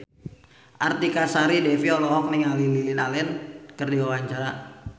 Artika Sari Devi olohok ningali Lily Allen keur diwawancara